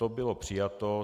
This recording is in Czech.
To bylo přijato.